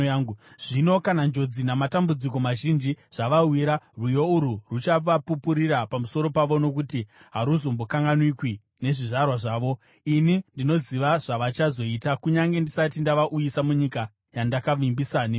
Zvino kana njodzi namatambudziko mazhinji zvavawira, rwiyo urwu ruchavapupurira pamusoro pavo, nokuti haruzombokanganwikwi nezvizvarwa zvavo. Ini ndinoziva zvavachazoita, kunyange ndisati ndavauyisa munyika yandakavavimbisa nemhiko.”